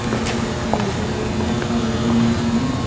ये एक yoga room दिखाई दे रहा है।